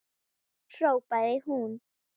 hrópaði hún.